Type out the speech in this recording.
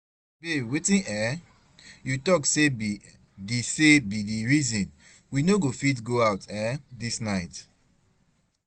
Babe wetin um you talk say be the say be the reason we no fit go out um this night?